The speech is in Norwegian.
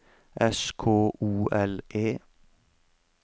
S K O L E